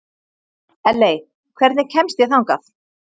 Elley, hvernig kemst ég þangað?